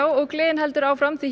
og gleðin heldur áfram því